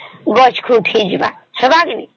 ଗଛ କୁ ଉଠିଯିବା ହେବ କି ନାଇଁ